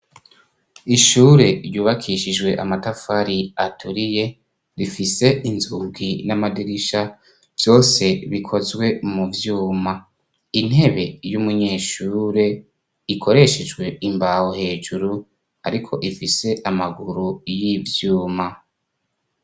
Ishure ryubakishijwe amatafari aturiye, rifise inzugi n'amadirisha vyose bikozwe mu vyuma. Intebe y'umunyeshure ikoreshejwe imbaho hejuru, ariko ifise amaguru y'ivyuma.